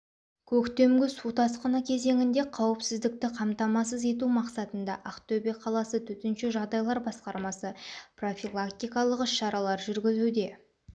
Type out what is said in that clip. көктемгі су тасқыны кезеңінде қауіпсіздікті қамтамасыз ету мақсатында ақтөбе қаласы төтенше жағдайлар басқармасы профилактикалық іс-шаралар жүргізуде